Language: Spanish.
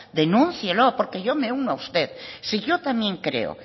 denúncielo porque yo me uno a usted si yo también creo